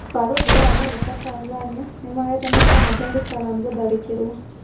ũbarũthi wa Amerika Tanzania , nĩmahete mũkana Dar es Salaam gũtharĩkĩrwo .